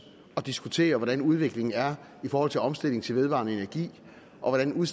og diskuterer hvordan udviklingen er i forhold til omstilling til vedvarende energi og hvordan